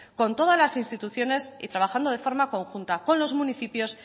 con todas las instituciones y trabajando de forma conjunta con los municipios